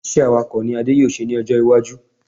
Iṣẹ́ Awakọ̀ ni Adé yóò ṣe ní ọjọ́ iwájú